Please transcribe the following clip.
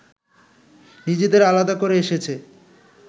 নিজেদের আলাদা করে এসেছে